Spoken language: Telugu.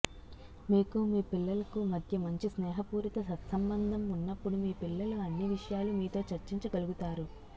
మీకు మీ పిల్లలకు మధ్య మంచి స్నేహపూరిత సత్సంబంధం ఉన్నప్పుడు మీ పిల్లలు అన్ని విషయాలు మీతో చర్చించగలుగుతారు